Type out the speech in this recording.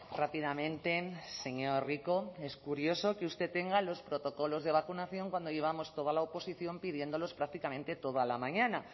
rápidamente señor rico es curioso que usted tenga los protocolos de vacunación cuando llevamos toda la oposición pidiéndolos prácticamente toda la mañana